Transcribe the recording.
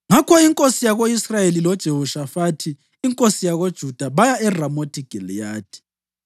Ngakho inkosi yako-Israyeli loJehoshafathi inkosi yakoJuda baya eRamothi Giliyadi.